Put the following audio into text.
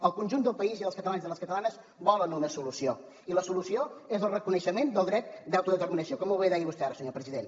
el conjunt del país i dels catalans i les catalanes volen una solució i la solució és el reconeixement del dret d’autodeterminació com molt bé deia vostè ara senyor president